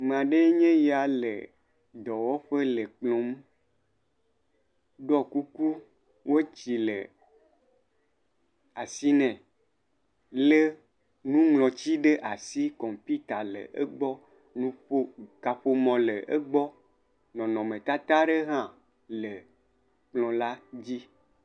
Ame aɖee nye ya le dɔwɔƒe le kplɔ ŋu, ɖɔ kuku, wɔtsi le asi nɛ, lé nuŋlɔti ɖe asi. Kɔmpita le egbɔ, nuƒo kaƒomɔ le egbɔ, nɔnɔmetata aɖe hã le kplɔ la dzi.